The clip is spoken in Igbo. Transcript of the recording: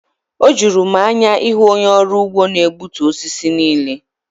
O juru m anya ịhụ onye ọrụ ugbo na-egbutu osisi niile.